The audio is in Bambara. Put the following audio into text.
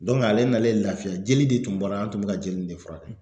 ale nalen lafiya jeli de tun bɔra an tun bɛ ka jeli in de furakɛ